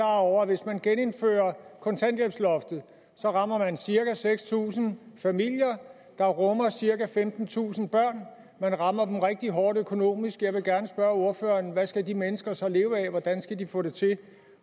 over at hvis man genindfører kontanthjælpsloftet så rammer man cirka seks tusind familier der rummer cirka femtentusind børn man rammer dem rigtig hårdt økonomisk jeg vil gerne spørge ordføreren hvad skal de mennesker så leve af hvordan skal de få det til